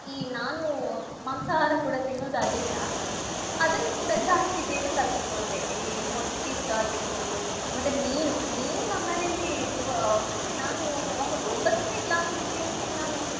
ಈ ನಾನು ಮಾಂಸಾಹಾರ ಕೂಡ ತಿನ್ನೋದ್ ಅದ್ರಿಂದಾ ಅದನ್ನ್ ಕೂಡಾ ಜಾಸ್ತಿ ಬೇಗ ಕಲ್ತ್ಕೊಂಡೆ ಈ ಮೊಟ್ಟೇದ್ ಆಗಿರ್ಬೋದು ಮತ್ತೆ ಮೀನು. ಮೀನ್ ನಮ್ಮನೇಲಿ ಇವ್~ ನಾನು ಹೌದು ಒಂಬತ್ನೆ class ಗೆನೆ ನಾನು